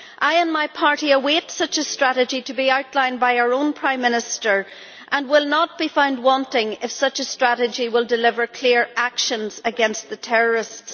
I and my party await such a strategy to be outlined by our own Prime Minister and will not be found wanting if such a strategy will deliver clear actions against the terrorists.